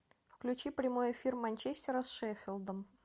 включи прямой эфир манчестера с шеффилдом